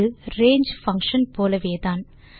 இது ரங்கே பங்ஷன் போலவேதான்